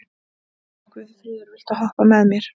Guðfríður, viltu hoppa með mér?